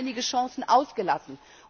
Wir haben einige Chancen ausgelassen.